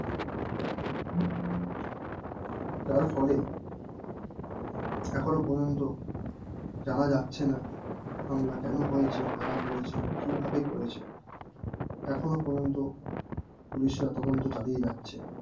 যার ফলে এখনো পর্যন্ত জানা যাচ্ছে না হামলা কেন হয়েছে কারা করেছে কিভাবে করেছে এখনো পর্যন্ত পুলিশরা তদন্ত চালিয়ে যাচ্ছে